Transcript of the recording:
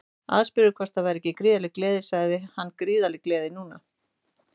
Aðspurður hvort það væri ekki gríðarleg gleði sagði hann Gríðarleg gleði núna.